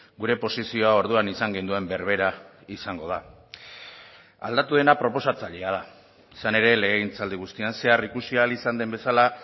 gure posizioa orduan izan genuen berbera izango da aldatu dena proposatzailea da izan ere legegintzaldi guztian zehar ikusi ahal izan den bezala